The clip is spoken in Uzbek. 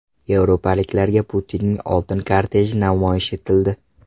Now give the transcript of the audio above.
Yevropaliklarga Putinning oltin korteji namoyish etildi .